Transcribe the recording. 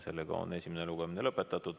Sellega on esimene lugemine lõpetatud.